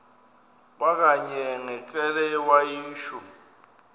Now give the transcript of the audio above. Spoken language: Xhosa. kwakanye ngekrele wayishu